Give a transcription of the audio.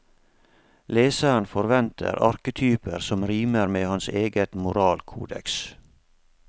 Leseren forventer arketyper som rimer med hans eget moralkodeks.